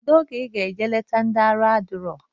Kedu oge iga eje eleta ndi aha adiro?